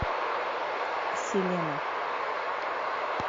селена